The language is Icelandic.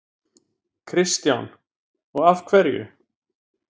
Kristján: Og af hverju?